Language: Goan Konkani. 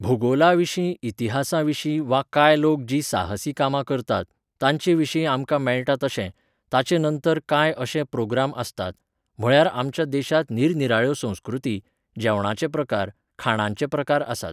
भुगोलाविशीं इतिहासाविशीं वा कांय लोक जीं साहसी कामां करतात, तांचेविशीं आमकां मेळटा तशें, ताचेनंतर कांय अशे प्रोग्राम आसतात, म्हळ्यार आमच्या देशांत निरनिराळ्यो संस्कृती, जेवणाचे प्रकार, खाणांचे प्रकार आसात.